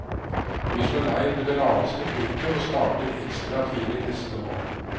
Vi slår leir ved det laveste punktet, og starter ekstra tidlig neste morgen.